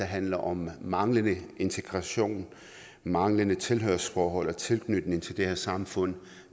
handler om manglende integration manglende tilhørsforhold og tilknytning til det her samfund